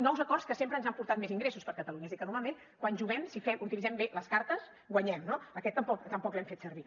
nous acords que sempre ens han portat més ingressos per a catalunya és a dir que normalment quan juguem si utilitzem bé les cartes guanyem no aquest tampoc l’hem fet servir